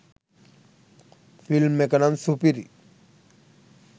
Film එක නම් සුපිරි.